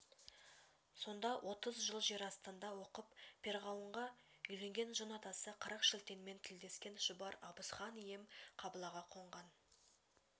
сонда отыз жыл жер астында оқып перғауынға үйленген жын атасы қырықшілтенмен тілдескен шұбар абыз хан ием қыбылаға қонған